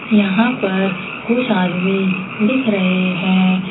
यहां पर कुछ आदमी दिख रहे हैं।